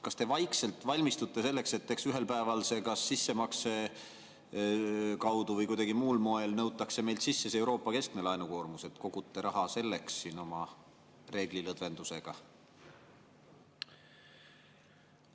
Kas te vaikselt valmistute selleks, et ühel päeval see kas sissemakse kaudu või kuidagi muul moel nõutakse meilt sisse, see Euroopa keskmine laenukoormus, et kogute selleks siin raha oma reeglilõdvendusega?